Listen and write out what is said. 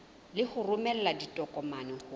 le ho romela ditokomane ho